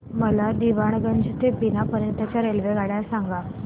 मला दीवाणगंज ते बिना पर्यंत च्या रेल्वेगाड्या सांगा